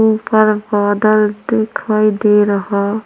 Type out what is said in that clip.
ऊपर बादल दिखाई दे रहा--